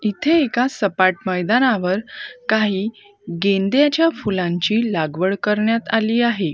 इथे एका सपाट मैदानावर काही गेंद्याच्या फुलांची लागवड करण्यात आली आहे.